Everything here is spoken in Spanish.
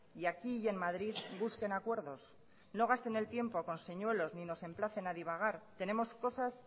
y aquí y en madrid busquen acuerdos no gasten el tiempo con señuelos y nos emplacen a divagar tenemos cosas